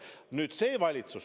Nüüd, see valitsus.